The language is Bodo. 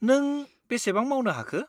नों बेसेबां मावनो हाखो?